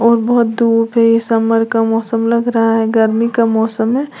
और बहोत धूप है समर का मौसम लग रहा है गर्मी का मौसम है।